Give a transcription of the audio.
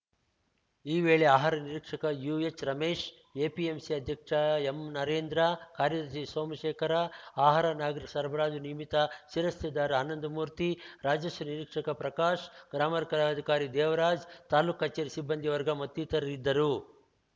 ಈ ವೇಳೆ ಆಹಾರ ನಿರೀಕ್ಷಕ ಯೂಎಚ್‌ರಮೇಶ್‌ ಎಪಿಎಂಸಿ ಅಧ್ಯಕ್ಷ ಎಂನರೇಂದ್ರ ಕಾರ್ಯದರ್ಶಿ ಸೋಮಶೇಖರ ಆಹಾರ ನಾಗರಿಕ ಸರಬರಾಜು ನಿಯಮಿತ ಶಿರಸ್ತೇದಾರ್‌ ಆನಂದ ಮೂರ್ತಿ ರಾಜಸ್ವ ನಿರೀಕ್ಷಕ ಪ್ರಕಾಶ್‌ ಗ್ರಾಮರ್ಲೆಕ್ಕಾಧಿಕಾರಿ ದೇವರಾಜ್‌ ತಾಲೂಕು ಕಚೇರಿಯ ಸಿಬ್ಬಂದಿ ವರ್ಗ ಮತ್ತಿತರರಿದ್ದರು